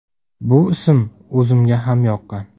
Bu ism o‘zimga ham yoqqan.